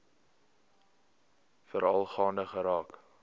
veral gaande geraak